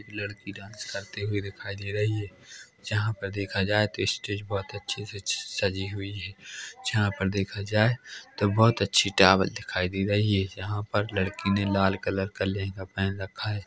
लड़की डांस करते हुए दिखाई दे रही है जहां पे देखा जाए तो स्टेज बोहोत अच्छे से अच्छी सजी हुई है जहां पे देखा जाए तो बोहोत अच्छी टावल दिखाई दे रही है यहां पर लड़की ने लाल कलर का लहंगा पेहन रखा है।